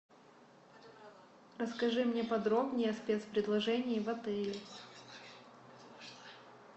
расскажи мне подробнее о спецпредложении в отеле